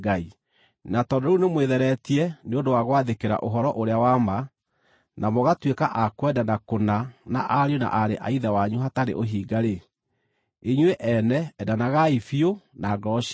Na tondũ rĩu nĩmwĩtheretie nĩ ũndũ wa gwathĩkĩra ũhoro ũrĩa wa ma, na mũgatuĩka a kwendana kũna na ariũ na aarĩ a Ithe wanyu hatarĩ ũhinga-rĩ, inyuĩ ene endanagai biũ na ngoro cianyu.